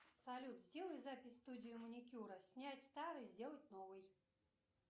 салют сделай запись в студию маникюра снять старый сделать новый